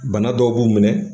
Bana dɔw b'u minɛ